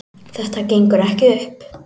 Þetta gengur ekki upp